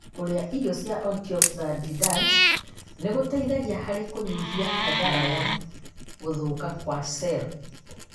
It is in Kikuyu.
Kũrĩa irio cia ontioxadidant nĩgũteithagia harĩ kũnyihia hathara ya gũthũka gwa cero